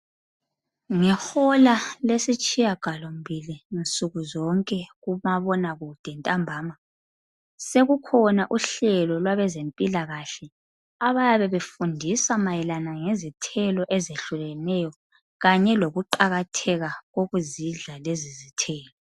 Ngehola lesitshiyagalombili nsukuzonke kumabonakude ntambama sekukhona uhlelo lwabezempilakahle abayabe befundisa mayelana ngezithelo ezehlukeneyo kanye lokuqakatheka kokuzidla lezizithelo.